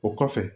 O kɔfɛ